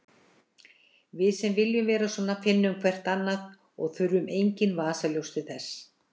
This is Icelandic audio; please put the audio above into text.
Við sem viljum vera svona finnum hvert annað og þurfum engin vasaljós til þess.